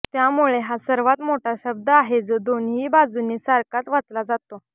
त्यामुळे हा सर्वात मोठा शब्द आहे जो दोन्ही बाजूने सारखाच वाचला जातो